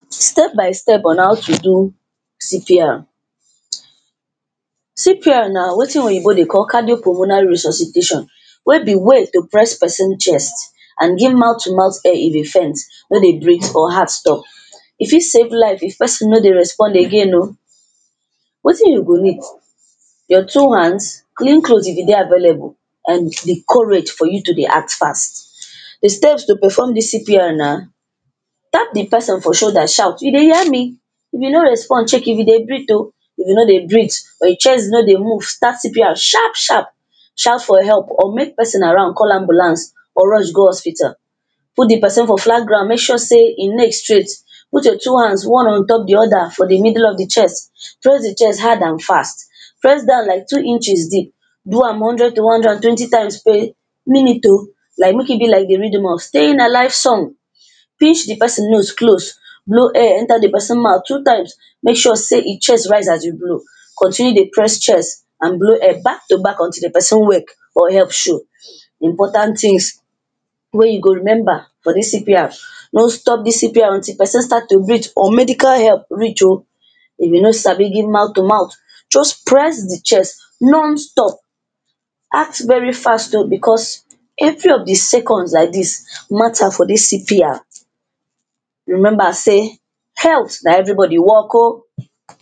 Step by step on how to do CPR CPR na wetin oyibo dey call cardio pulmonary resuscitation wey be way to press person chest and give mouth to mouth air if e faint, no dey breath or heart stop E fit save life if person no dey respond again oh. Wetin you go need your two hands, clean clothes if e dey available and di courage for you to dey act fast Di step to perform dis CPR na tap di person for shoulder shout you dey hear me if e no respond, check if e dey breath oh. If e no dey breath or e chest no dey move start CPR sharp sharp shout for help or make person around call ambulance or rush go hospital Put di person for flat ground, make sure sey e neck straight Put your two hands one on top di other for di middle of di chest, press di chest hard and fast press down like two inches deep. Do hundred to one hundred and twenty times per minute oh, like make e be like di rhythm of staying alive song pinch di person nose close blow air enter di person mouth two times make sure sey e chest rise as you blow, continue dey press chest and blow air back to back until di person wake or help show. Important things wey you go remember for dis CPR, no stop dis CPR till person start to breath or medical help reach oh If you no sabi give mouth to mouth, just press di chest non-stop Act very fast oh, becos every of di seconds like dis matter for dis CPR Remember sey health na every body work oh